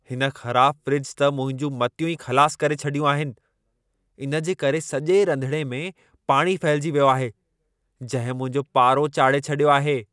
हिन ख़राब फ़्रिज त मुंहिंजू मतियूं ई ख़लास करे छॾियूं आहिनि। इन जे करे सॼे रंधिणे में पाणी फहिलिजी वियो आहे, जंहिं मुंहिंजो पारो चाढ़े छॾियो आहे।